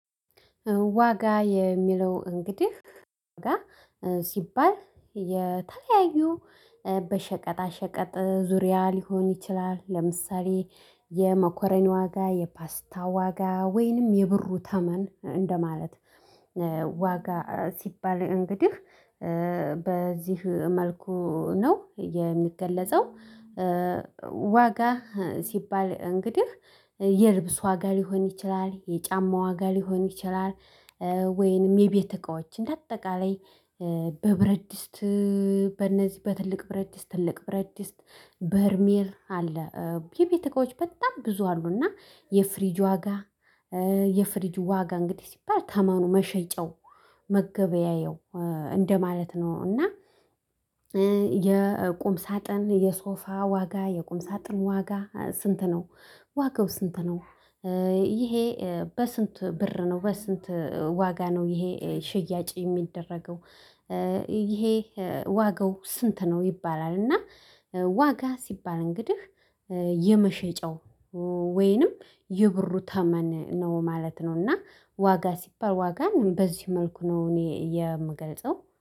ዋጋ የሚለው እንግዲህ ዋጋ ሲባል የተለያዩ በሸቀጣ ሸቀጥ ዙሪያ ሊሆን ይችላል ለምሳሌ የመኮረኒ ዋጋ የፓስታ ዋጋ ወይንም የብሩ ተመን እንደማለት ዋጋ ሲባል እንግዲህ በዚህ መልኩ ነው የሚገለጸው። ዋጋ ሲባል እንግዲህ የልብስ ዋጋ ሊሆን ይችላል የጫማ ዋጋ ሊሆን ይችላል። ወይንም የቤት እቃዎች እንደ አጠቃላይ በብረድስት በእነዚህ በትልቅ ብረድስት ትልቅ ብረድስ በርሜል አለ የቤት እቃዎች በጣም ብዙ አሉና የፍሪጅ ዋጋ የፍሪጅ ዋጋ እንግዲህ ሲባል ተመኑ መሸጫው መገበያየው እንደማለት ነው። እና የቁም ሳጥን የሶፋ ዋጋ የቁም ሳጥን ዋጋ ስንት ነው? ዋጋው ስንት ነው? ይሄ በስንት ብር ነው በስንት ዋጋ ነው ይሄ ሽያጭ የሚደረገው። ይሄ ዋጋው ስንት ነው ይባላል። እና ዋጋ ሲባል እንግዲህ የመሸጫው ወይንም የብሩ ተመን ነው ማለት ነው። እና ዋጋ ሲባል ዋጋን በዚህ መልኩ ነው እኔ የምገልጸው